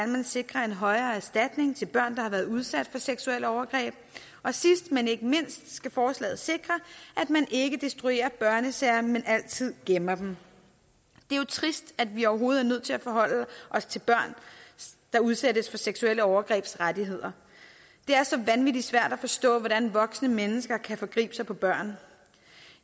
man sikrer en højere erstatning til børn der har været udsat for seksuelle overgreb og sidst men ikke mindst skal forslaget sikre at man ikke destruerer børnesager men altid gemmer dem det er jo trist at vi overhovedet er nødt til at forholde os til børn der udsættes for seksuelle overgreb det er så vanvittig svært at forstå hvordan voksne mennesker kan forgribe sig på børn